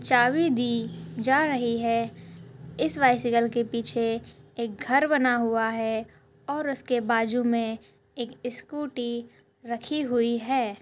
चाबी दी जा रही है इस बाइसिकल के पीछे एक घर बना हुआ है और उसके बाजू मे एक स्कूटी रखी हुई है।